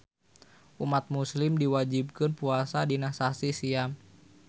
Umat muslim diwajibkeun puasa dina sasih siam